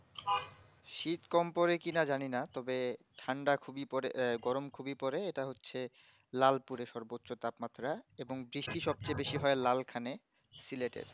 শীত কম পরে কিনা জানি না তবে ঠান্ডা খুবই পরে এ গরম খুবই পরে এটা হচ্ছে লালপুরের সর্বোচ্চ তাপ মাত্রা এবং বৃষ্টি সবচেয়ে বেশি হয় লাল খানে সিলেটেড